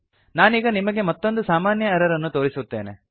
ನಾನೀಗ ನಿಮಗೆ ಮತ್ತೊಂದು ಸಾಮಾನ್ಯ ಎರರ್ ಅನ್ನು ತೋರಿಸುತ್ತೇನೆ